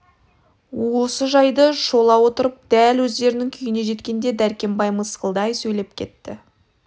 осы жайды шола отырып дәл өздерінің күйіне жеткенде дәркембай мысқылдай сөйлеп кетті